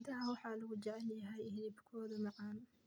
Idaha waxaa lagu jecel yahay hilibkooda macaan.